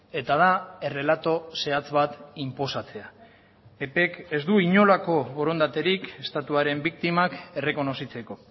eta da errelato zehatz bat inposatzea ppk ez du inolako borondaterik estatuaren biktimak errekonozitzeko